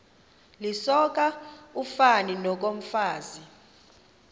lisoka ufani nokomfazi